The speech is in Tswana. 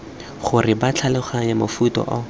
gore ba tlhaloganye mofuta o